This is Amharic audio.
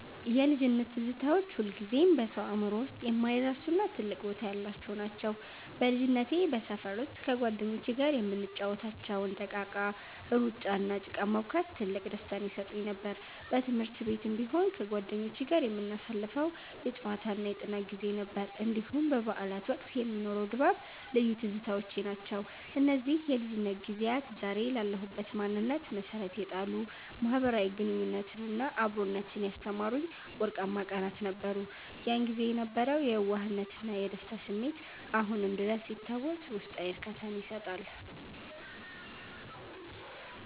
የልጅነት ትዝታዎች ሁልጊዜም በሰው አእምሮ ውስጥ የማይረሱና ትልቅ ቦታ ያላቸው ናቸው። በልጅነቴ በሰፈር ውስጥ ከጓደኞቼ ጋር የምንጫወታቸው እንደ እቃቃ፣ ሩጫ፣ እና ጭቃ ማቡካት ትልቅ ደስታን ይሰጡኝ ነበር። በትምህርት ቤትም ቢሆን ከጓደኞቼ ጋር የምናሳልፈው የጨዋታና የጥናት ጊዜ፣ እንዲሁም በበዓላት ወቅት የሚኖረው ድባብ ልዩ ትዝታዎቼ ናቸው። እነዚህ የልጅነት ጊዜያት ዛሬ ላለሁበት ማንነት መሠረት የጣሉ፣ ማኅበራዊ ግንኙነትንና አብሮነትን ያስተማሩኝ ወርቃማ ቀናት ነበሩ። ያን ጊዜ የነበረው የየዋህነትና የደስታ ስሜት አሁንም ድረስ ሲታወስ ውስጣዊ እርካታን ይሰጣል።